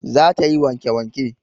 Za ta yi wanke wanke